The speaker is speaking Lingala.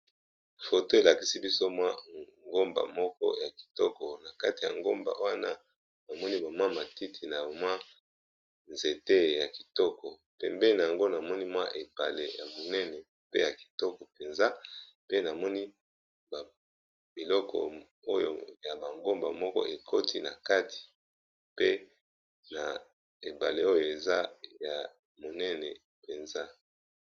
Foto elakisi biso mwa ngomba moko ya kitoko na kati ya ngomba wana namoni ba mwa matiti na mwa nzete ya kitoko, pembeni yango namoni mwa epale ya monene pe ya kitoko penza pe namoni biloko oyo ya ba ngomba moko ekoti na kati pe na epale oyo eza ya monene penza.